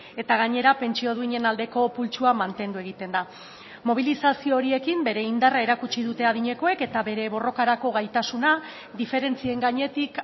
eta gainera pentsio duinen aldeko pultsua mantendu egiten da mobilizazio horiekin bere indarra erakutsi dute adinekoek eta bere borrokarako gaitasuna diferentzien gainetik